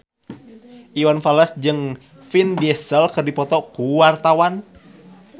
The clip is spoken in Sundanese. Iwan Fals jeung Vin Diesel keur dipoto ku wartawan